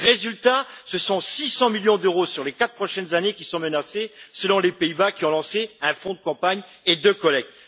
Résultat ce sont 600 millions d'euros sur les quatre prochaines années qui sont menacés, selon les Pays Bas, qui ont lancé un fonds de campagne et de collecte.